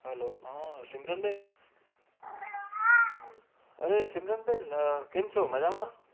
hello અ સિમરન બેન અરે સિમરન બેન કેમછો મજામાં